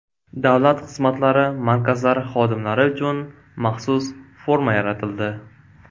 Davlat xizmatlari markazlari xodimlari uchun maxsus forma yaratildi.